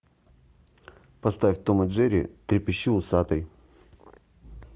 поставь том и джерри трепещи усатый